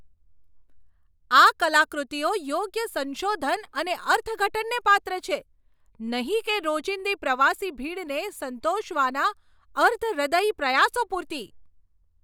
આ કલાકૃતિઓ યોગ્ય સંશોધન અને અર્થઘટનને પાત્ર છે, નહીં કે રોજીંદી પ્રવાસી ભીડને સંતોષવાના અર્ધ હૃદયી પ્રયાસો પુરતી.